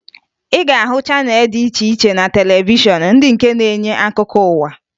Ị ga-ahụ channel dị iche iche na televishọn ndị nke na-enye akụkọ ụwa